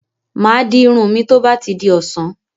Mà á di irun mi tó bá di ọ̀sán.